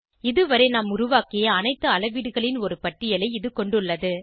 இதுவரை நாம் உருவாக்கிய அனைத்து அளவீடுகளின் ஒரு பட்டியலை இது கொண்டுள்ளது